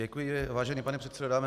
Děkuji, vážený pane předsedo.